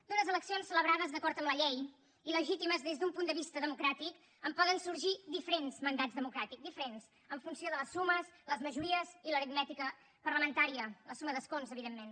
d’unes eleccions celebrades d’acord amb la llei i legítimes des d’un punt de vista democràtic en poden sorgir diferents mandats democràtics diferents en funció de les sumes les majories i l’aritmètica parlamentària la suma d’escons evidentment